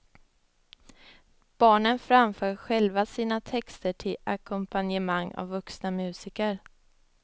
Barnen framför själva sina texter till ackompanjemang av vuxna musiker.